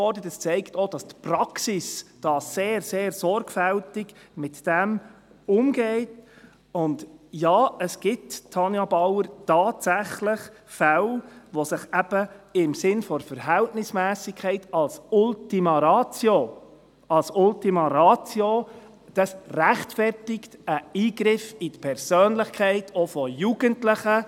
Dies zeigt auch, dass die Praxis sehr sorgfältig damit umgeht und – ja, Tanja Bauer –, dass es tatsächlich Fälle gibt, wo sich eben im Sinne der Verhältnismässigkeit als Ultima Ratio auch ein Eingriff in die Persönlichkeit von Jugendlichen rechtfertigt.